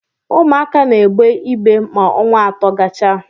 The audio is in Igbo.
Ụmụaka na-egbe ibe ma ọnwa atọ gachaa